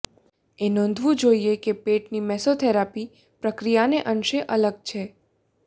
એ નોંધવું જોઇએ કે પેટની મેસોથેરાપી પ્રક્રિયાને અંશે અલગ છે